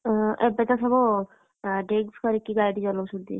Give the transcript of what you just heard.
ଓ ଏବେତ ସବୁ, drinks କରିକି ଗାଡି ଚଲଉଛନ୍ତି।